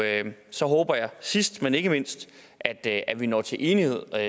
så håber jeg sidst men ikke mindst at at vi når til enighed